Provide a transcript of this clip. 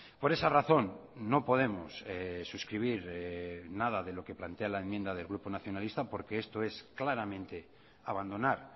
por esa razón no podemos suscribir nada de lo que plantea la enmienda del grupo nacionalista porque esto es claramente abandonar